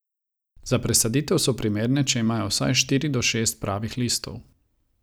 Za presaditev so primerne, če imajo vsaj štiri do šest pravih listov.